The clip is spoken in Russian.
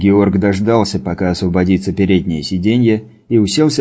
георг дождался пока освободится переднее сиденье и уселся